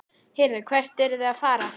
Heyrðu, hvert eruð þið að fara?